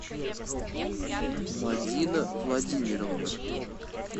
мадина владимировна